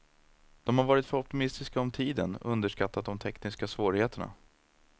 De har varit för optimistiska om tiden och underskattat de tekniska svårigheterna.